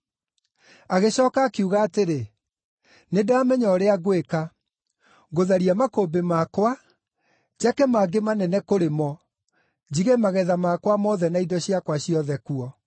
“Agĩcooka akiuga atĩrĩ, ‘Nĩndamenya ũrĩa ngwĩka. Ngũtharia makũmbĩ makwa, njake mangĩ manene kũrĩ mo, njige magetha makwa mothe na indo ciakwa ciothe kuo.